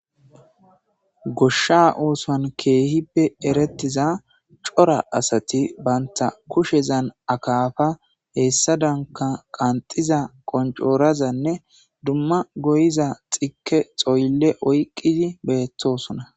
Goshsha oosan keehippe erettiza cora asati baynta kushezan akaafa heessa danka qanxiza qoncoorazanne dumma goyiza xike xoylle oyqqidi beettosona.